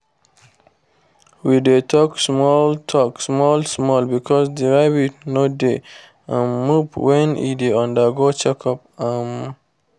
we dey talk small talk small small because the rabbit no dey um move when e dey undergo check up um